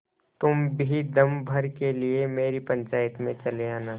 तुम भी दम भर के लिए मेरी पंचायत में चले आना